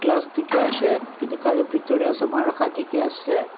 dikhi ase etu gari bitor tey saman rakha dikhi ase.